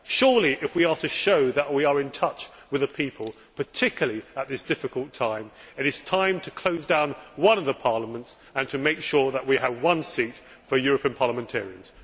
Surely if we are to show that we are in touch with the people, particularly at this difficult time, it is time to close down one of the parliaments and make sure that we have one seat for European parliamentarians.